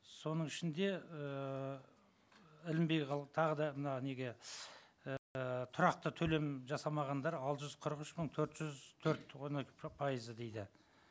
соның ішінде ыыы ілінбей тағы да мына неге ііі тұрақты төлем жасамағандар алты жүз қырық үш мың төрт жүз төрт оны пайызы дейді